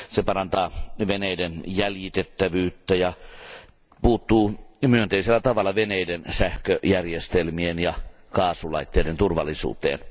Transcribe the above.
Se parantaa veneiden jäljitettävyyttä ja puuttuu myönteisellä tavalla veneiden sähköjärjestelmien ja kaasulaitteiden turvallisuuteen.